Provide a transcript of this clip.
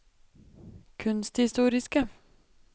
kunsthistoriske